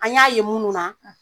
An y'a ye munnu na